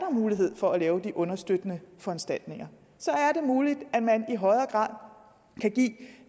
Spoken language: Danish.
mulighed for at lave de understøttende foranstaltninger så er det muligt at man i højere grad kan give